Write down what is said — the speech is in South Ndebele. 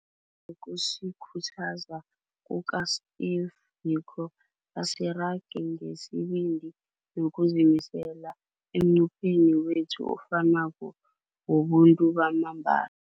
Njengokusikhuthaza kuka-Steve Biko, asirage ngesibindi nokuzimisela emnqopheni wethu ofanako wobuntu bamambala.